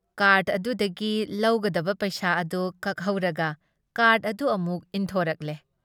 Card ꯑꯗꯨꯗꯒꯤ ꯂꯧꯒꯗꯕ ꯄꯩꯁꯥ ꯑꯗꯨ ꯀꯛꯍꯧꯔꯒ ꯀꯥꯔꯗ ꯑꯗꯨ ꯑꯃꯨꯛ ꯏꯟꯊꯣꯔꯛꯂꯦ ꯫